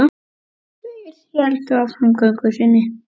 Þeir héldu áfram göngu sinni.